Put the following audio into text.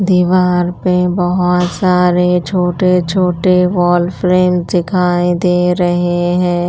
दीवार पे बहुत सारे छोटे छोटे वॉल फ्रेम दिखाई दे रहे हैं।